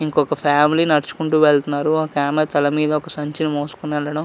ఇంకొక ఫ్యామిలీ నడుచుకుంటూ వెళ్తున్నారు. ఒక ఆమె తల మీద ఒక సంచిని మూసుకొని వెళ్లడం --